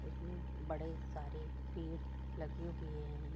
उसमे बड़े सारे पेड़ लगे हुए है।